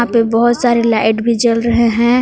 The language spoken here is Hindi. पे बहुत सारे लाइट भी जल रहे हैं।